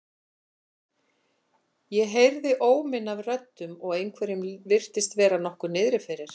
Ég heyrði óminn af röddum og einhverjum virtist vera nokkuð niðri fyrir.